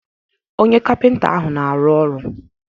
Onye kapịnta ahụ na-arụ ọrụ.